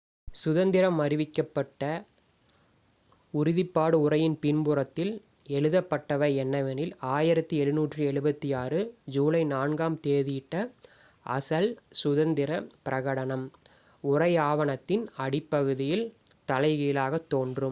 "சுதந்திரம் அறிவிக்கப்பட்ட உறுதிப்பாட்டு உரையின் பின்புறத்தில் எழுதப்பட்டவை என்னவெனில் "1776 ஜூலை 4-ஆம் தேதியிட்ட அசல் சுதந்திர பிரகடனம்"". உரை ஆவணத்தின் அடிப்பகுதியில் தலைகீழாகத் தோன்றும்.